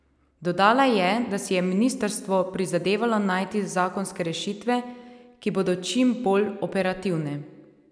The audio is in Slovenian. Dodala je, da si je ministrstvo prizadevalo najti zakonske rešitve, ki bodo čim bolj operativne.